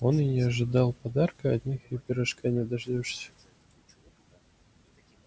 он и не ожидал подарка от них и пирожка не дождёшься